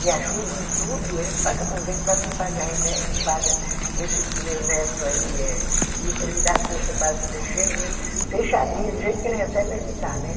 Me ajudam tudo, eles paga convênio para mim, paga remédio paga, esse meu neto aí que é estilista, ele me dá a cesta básica dele cheinha, fechadinha, do jeito que ele recebe, ele me dá, né?